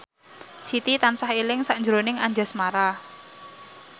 Siti tansah eling sakjroning Anjasmara